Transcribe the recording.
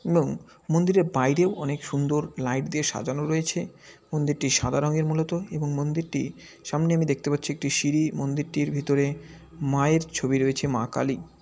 এবং মন্দিরে বাইরেও অনেক সুন্দর লাইট দিয়ে সাজানো রয়েছে। মন্দিরটি সাদা রঙের মূলত এবং মন্দিরটি সামনে আমি দেখতে পারছি একটি সিঁড়ি মন্দিরটির ভিতরে মায়ের ছবি রয়েছে মা কালী ।